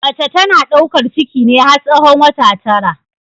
Mace tana ɗaukar ciki ne har tsahon wata tara.